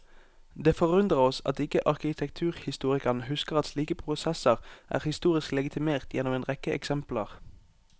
Det forundrer oss at ikke arkitekturhistorikeren husker at slike prosesser er historisk legitimert gjennom en rekke eksempler.